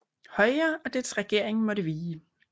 Højre og dets regering måtte vige